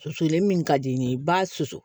Susulen min ka di n ye ba susu